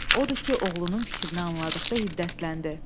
Odur ki, oğlunun fikrini anladıqda hiddətləndi.